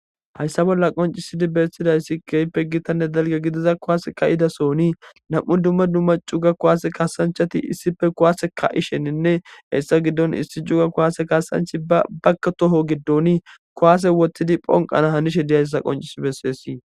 Hayssa bolla qoncisidi beesidayssi keehippe gitanne dalge gidiza kuwaase ka'idasooni nam'u dumma dumma cugga kuwaase kasanchati issippe kuwaase ka'isheninne hessa giddon issi cugga kuwaase kaasanchi ba bakka toho giddoni kuwaase wottidi phonqana hanishe diyayssa qonccisi bessesii